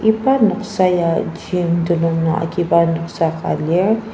iba noksa ya gym telung nung agiba noksa ka lir.